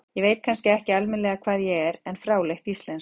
Ég veit kannski ekki alminlega hvað ég er, en fráleitt íslensk.